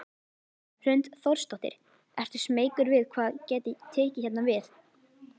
Hrund Þórsdóttir: Ertu smeykur við hvað gæti tekið hérna við?